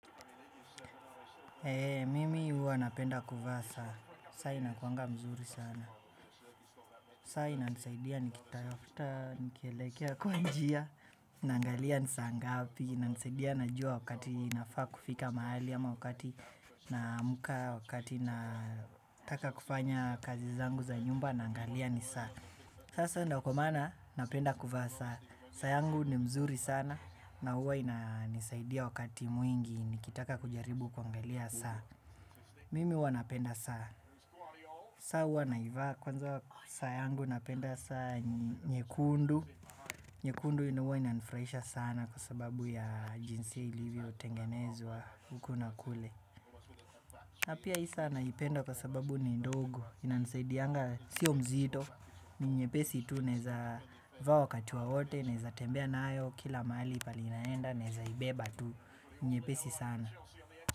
Mimi huwa napenda kuvaa saa, saa inakuanga mzuri sana. Saa inanisaidia nikitafuta, nikielekea kwa njia, na angalia ni saa ngapi. Ina nisaidia najua wakati ninafaa kufika mahali, ama wakati naamka, wakati nataka kufanya kazi zangu za nyumba, na angalia ni saa. Sasa ndio kwa maana, napenda kuvaa saa. Saa yangu ni mzuri sana, na huwa inanisaidia wakati mwingi, nikitaka kujaribu kuangalia saa. Mimi huwa napenda saa, saa huwa na ivaa, kwanza saa yangu napenda saa nyekundu. Nyekundu huwa inanifurahisha sana kwa sababu ya jinsi ilivyo tengenezwa huku na kule. Na pia hii saa naipenda kwa sababu ni ndogo, inanisaidianga, sio mzito, ni nyepesi tu naweza vaa wakati wowote, naweza tembea nayo kila mahali pahali naenda, naweza ibeba tu, nyepesi sana.